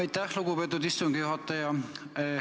Aitäh, lugupeetud istungi juhataja!